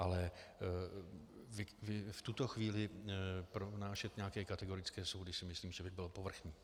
Ale v tuto chvíli pronášet nějaké kategorické soudy si myslím, že by bylo povrchní.